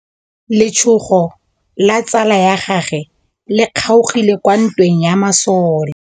Letsôgô la tsala ya gagwe le kgaogile kwa ntweng ya masole.